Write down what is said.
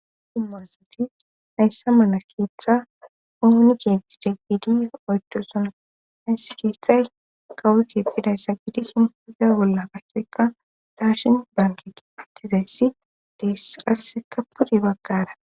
Hayssa mala keeththa oni keexide giddi oydichona. hayssa keeththay kawoy keexxidayssa giddishin ha bolla daashin banke geetetiza issi dees. Qasseka pude baggara